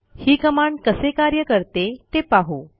ही command कसे कार्य करते ते पाहू